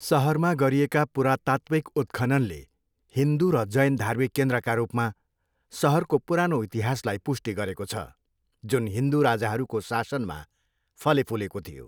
सहरमा गरिएका पुरातात्त्विक उत्खननले हिन्दू र जैन धार्मिक केन्द्रका रूपमा सहरको पुरानो इतिहासलाई पुष्टि गरेको छ, जुन हिन्दू राजाहरूको शासनमा फलेफुलेको थियो।